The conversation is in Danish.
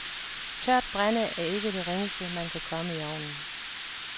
Tørt brænde er ikke det ringeste man kan komme i ovnen.